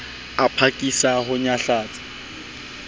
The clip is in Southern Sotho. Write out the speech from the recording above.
a phakisa ho o nyahlatsa